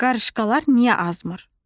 Qarışqalar niyə azmır?